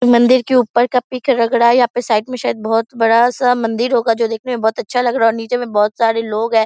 मंदिर के ऊपर का पीक लग रहा है यहाँ पे साइड में शायद से बहुत बड़ा सा मंदिर होगा जो दिखने में बहुत अच्छा लग रहा है और नीचे में बहुत सारे लोग हैं ।